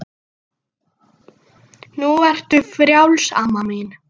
En hún var það.